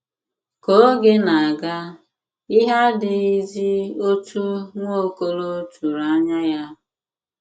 Ka oge na - aga, ihe adịghịzi otú Nwaokolo tụrụ anya ya.